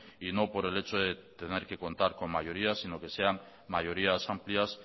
y no por el hecho de tener que contar con mayorías sino que sean mayorías amplias